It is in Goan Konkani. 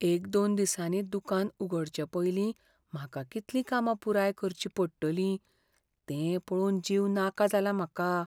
एक दोन दिसांनी दुकान उगडचे पयलीं म्हाका कितलीं कामां पुराय करचीं पडटलीं तें पळोवन जीव नाका जाला म्हाका.